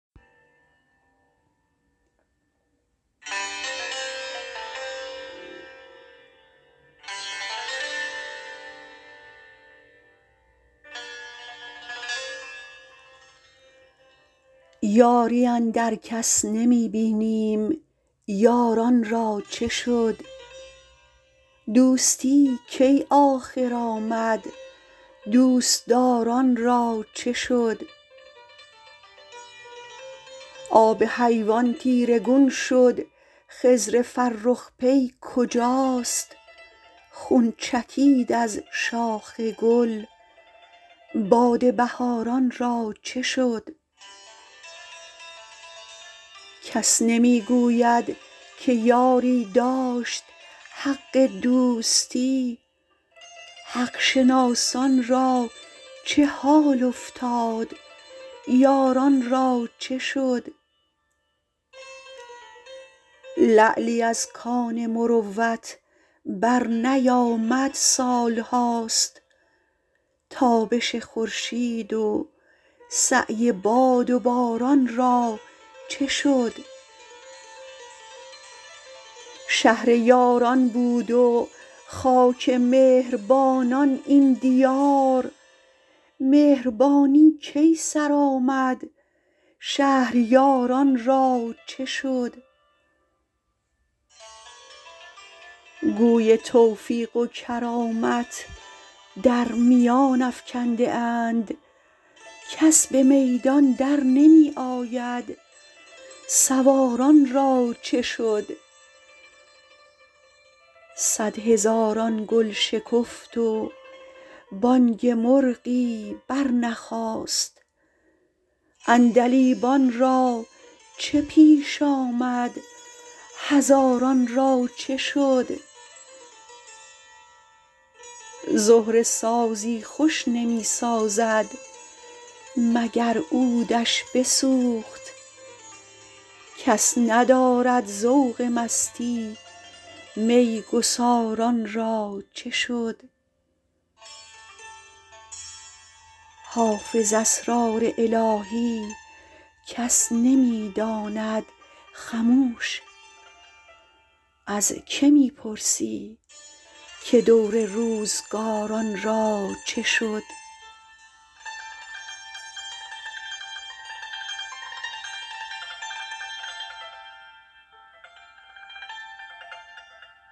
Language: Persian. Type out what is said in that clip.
یاری اندر کس نمی بینیم یاران را چه شد دوستی کی آخر آمد دوست دار ان را چه شد آب حیوان تیره گون شد خضر فرخ پی کجاست خون چکید از شاخ گل باد بهار ان را چه شد کس نمی گوید که یاری داشت حق دوستی حق شناسان را چه حال افتاد یاران را چه شد لعلی از کان مروت برنیامد سال هاست تابش خورشید و سعی باد و باران را چه شد شهر یاران بود و خاک مهر بانان این دیار مهربانی کی سر آمد شهریار ان را چه شد گوی توفیق و کرامت در میان افکنده اند کس به میدان در نمی آید سوار ان را چه شد صدهزاران گل شکفت و بانگ مرغی برنخاست عندلیبان را چه پیش آمد هزاران را چه شد زهره سازی خوش نمی سازد مگر عود ش بسوخت کس ندارد ذوق مستی می گسار ان را چه شد حافظ اسرار الهی کس نمی داند خموش از که می پرسی که دور روزگار ان را چه شد